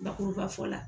Bakuruba fɔ la